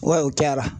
Wa u cayara